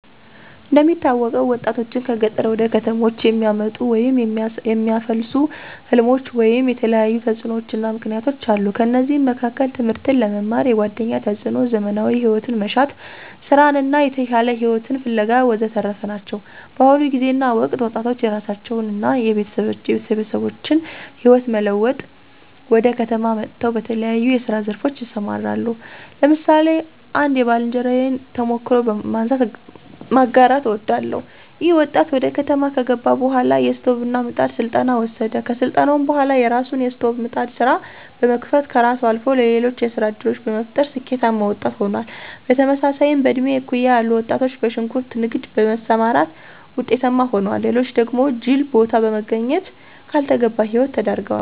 እንደሚታወቀው ወጣቶችን ከገጠር ወደ ከተሞች የሚያመጡ ወይም የሚያፋልሱ ሕልሞች ወይም የተለያዩ ተጽዕኖዎችና ምክነያቶች አሉ። ከነዚህም መካከል ትምህርትን ለመማር፣ የጓደኛ ተፅዕኖ፣ ዘመናዊ ሂወትን መሻት፣ ሥራን እና የተሻለ ሂወትን ፋለጋ ወዘተረፈ ናቸው። በአሁኑ ጊዜና ወቅት ወጣቶች የራሳቸውን አና የቤተሰባችን ህይወት ለመለወጥ ወደ ከተማ መጠው በተለያየ የስራ ዘርፎች ይሰማራሉ። ለምሳሌ አንድ የባልንጀራየን ተሞክሮ በማንሳት ማጋራት አወዳለሁ። ይኸ ወጣት ወደ ከተማ ከገባ በኋላ የስቶቭና ምጣድ ስልጠና ወሰደ። ከስልጠናውም በኋላ የራሱን የስቶቭና ምጣድ ስራ በመክፈትም ከራሱ አልፎ ለሌሎች የስራ ዕድል በመፍጠር ስኬታማ ወጣት ሆኗል። በተመሳሳይም በእድሜ እኩያ ያሉ ወጣቶች በሽንኩርት ንግድ በመሰማራት ውጤታማ ሆነዋል። ሌሎች ደግሞ ጅል ቦታ በመገኘት ላልተገባ ሂወት ተዳርገዋል።